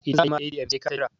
idan za a yi ma ATM sai kai ta Jira